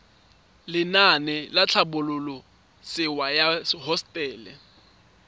lenaane la tlhabololosewa ya hosetele